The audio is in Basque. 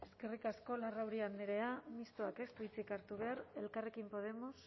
eskerrik asko larrauri andrea mistoak ez du hitzik hartu behar elkarrekin podemos